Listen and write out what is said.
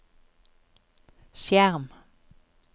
skjerm